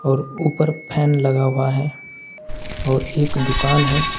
और ऊपर फैन लगा हुआ है और एक दुकान है।